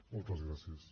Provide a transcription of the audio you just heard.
moltes gràcies